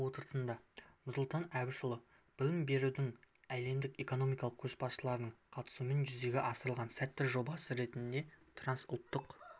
отырысында нұрсұлтан әбішұлы білім берудің әлемдік экономика көшбасшыларының қатысуымен жүзеге асырылған сәтті жобасы ретінде трансұлттық